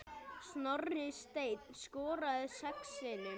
Snorri Steinn skoraði sex sinnum.